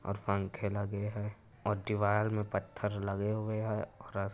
और पंखे लगे हैं और दीवार में पत्थर लगे हुए हैं और --